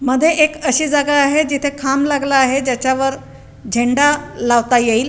मध्ये एक अशी जागा आहे जिथे खांब लागला आहे ज्याच्यावर झेंडा लावता येईल.